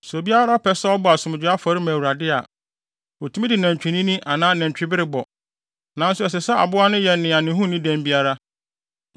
“ ‘Sɛ obiara pɛ sɛ ɔbɔ asomdwoe afɔre ma Awurade a, otumi de nantwinini anaa nantwibere bɔ, nanso ɛsɛ sɛ aboa no yɛ nea ne ho nni dɛm biara.